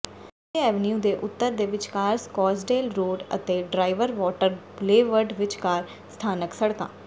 ਤੀਜੇ ਐਵਨਿਊ ਦੇ ਉੱਤਰ ਦੇ ਵਿਚਕਾਰ ਸਕੌਟਸਡੇਲ ਰੋਡ ਅਤੇ ਡ੍ਰਾਇਵਰ ਵਾਟਰ ਬੁਲੇਵਰਡ ਵਿਚਕਾਰ ਸਥਾਨਕ ਸੜਕਾਂ